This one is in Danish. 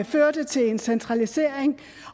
førte til en centralisering